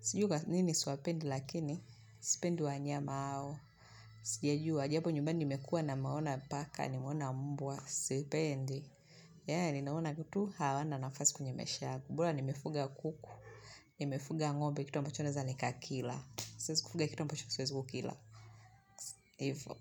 sijui kwanini siwapendi, lakini sipendi wanyama hao. Sijajua, japo nyumbani nimekua nimeona paka, nimeona mbwa, sipendi. Yani, naona tu, hawana nafasi kwenye maisha yangu bora, nimefuga kuku. Nimefuga ngombe, kitu ambacho naweza nikakila. Siwezi kufuga kitu ambacho siwezi kukila. Ivo.